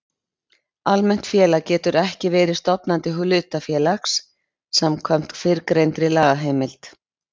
Almennt félag getur heldur ekki verið stofnandi hlutafélags samkvæmt fyrrgreindri lagaheimild.